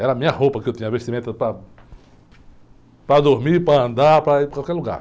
Era a minha roupa que eu tinha vestimenta para, para dormir, para andar, para ir para qualquer lugar.